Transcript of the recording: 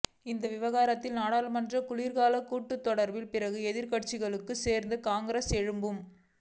இந்த விவகாரத்தை நாடாளுமன்ற குளிர்கால கூட்டத்தொடரில் பிற எதிர்க்கட்சிகளுடன் சேர்ந்து காங்கிரஸ் எழுப்பும்